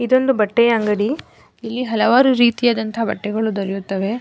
ಇದೊಂದು ಬಟ್ಟೆಯ ಅಂಗಡಿ ಇಲ್ಲಿ ಹಲವಾರು ರೀತಿಯಾದಂತಹ ಬಟ್ಟೆಗಳು ದೊರೆಯುತ್ತದೆ.